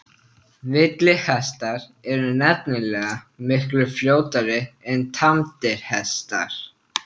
Villihestar eru nefnilega miklu fljótari en tamdir hestar.